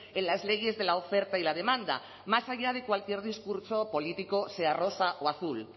en las leyes de la oferta y la demanda más allá de cualquier discurso político sea rosa o azul